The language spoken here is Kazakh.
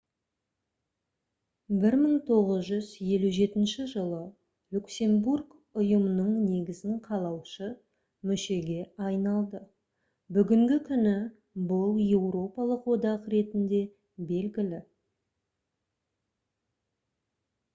1957 жылы люксембург ұйымның негізін қалаушы мүшеге айналды бүгінгі күні бұл еуропалық одақ ретінде белгілі